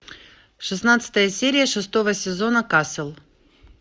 шестнадцатая серия шестого сезона касл